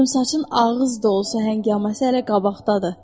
Qıvrımsaçın ağız dolusu həngaməsi hələ qabaqdadır.